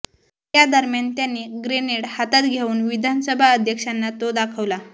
यादरम्यान त्यांनी ग्रेनेड हातात घेऊन विधानसभा अध्यक्षांना तो दाखविला